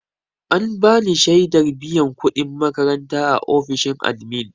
An bani shaidar biyan kuɗin makaranta a ofishin admin.